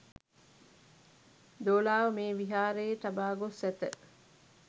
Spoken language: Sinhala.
දෝලාව මේ විහාරයේ තබා ගොස් ඇත